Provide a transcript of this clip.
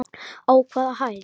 Á hvaða hæð?